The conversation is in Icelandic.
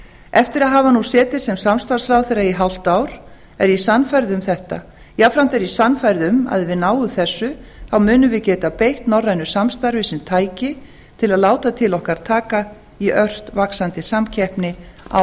eftir að hafa nú setið sem samstarfsráðherra í hálft ár er ég sannfærð um þetta jafnframt er ég sannfærð um að ef við náum þessu munum við geta beitt norrænu samstarfi sem tæki til að láta til okkar taka í ört vaxandi samkeppni á